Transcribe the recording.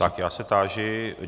Tak já se táži...